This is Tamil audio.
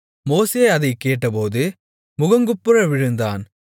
மோசே அதைக் கேட்டபோது முகங்குப்புற விழுந்தான்